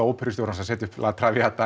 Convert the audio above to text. óperustjóra að setja la